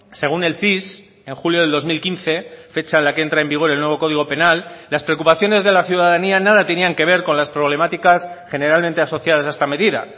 según el cis en julio del dos mil quince fecha en la que entra en vigor el nuevo código penal las preocupaciones de la ciudadanía nada tenían que ver con las problemáticas generalmente asociadas a esta medida